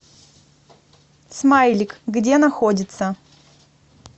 смайлик где находится